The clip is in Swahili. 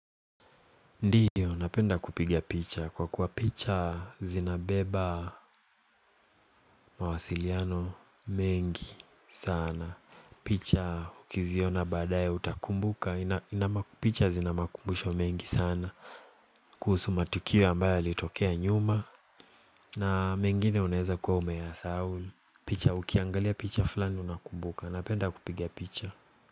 Ndio napenda kupiga picha kwa kuwa picha zinabeba mawasiliano mengi sana. Picha ukiziona baadae utakumbuka, picha zinamakumbusho mengi sana kuhusu matukio ambayo yalitokea nyuma na mengine unaeza kwa umeyasahau picha ukiangalia picha fulani unakumbuka napenda kupiga picha.